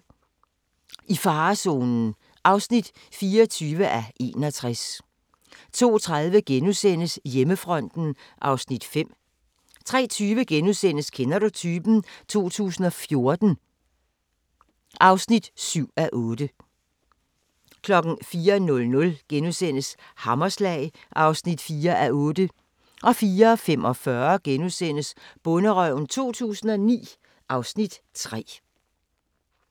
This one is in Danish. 01:40: I farezonen (24:61) 02:30: Hjemmefronten (Afs. 5)* 03:20: Kender du typen? 2014 (7:8)* 04:00: Hammerslag (4:8)* 04:45: Bonderøven 2009 (Afs. 3)*